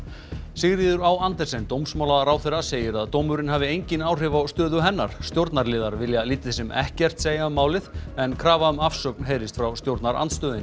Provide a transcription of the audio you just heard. Sigríður á Andersen dómsmálaráðherra segir að dómurinn hafi engin áhrif á stöðu hennar stjórnarliðar vilja lítið sem ekkert segja um málið en krafa um afsögn heyrist frá stjórnarandstöðunni